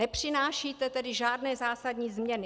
Nepřinášíte tedy žádné zásadní změny.